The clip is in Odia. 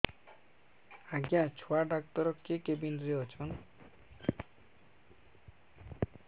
ଆଜ୍ଞା ଛୁଆ ଡାକ୍ତର କେ କେବିନ୍ ରେ ଅଛନ୍